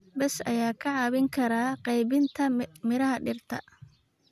Bees ayaa kaa caawin kara qaybinta miraha dhirta.